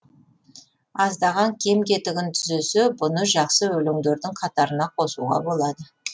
аздаған кем кетігін түзесе бұны жақсы өлеңдердің қатарына қосуға болады